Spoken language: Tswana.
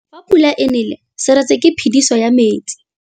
Fa pula e nelê serêtsê ke phêdisô ya metsi.